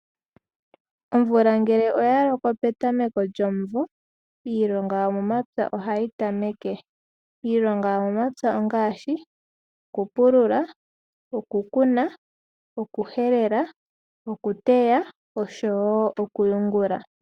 Omvula ngele oyaloko petameko lyomumvo iilonga yomomapya ohayi tameke. Iilonga yomomapya ongaashi okupulula, okukuna, okuhelela, okuteya, okuteya nokuyugula.